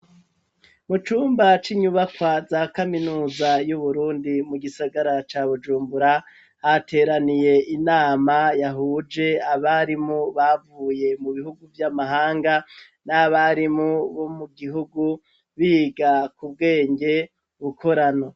Mu cumba c'inyubakwa za kaminuza y'uburundi mu gisagara ca Bujumbura hateraniye inama yahuje abarimu bavuye mu bihugu by'amahanga n'abarimu bo mu gihugu biga ku bwenge bukorano.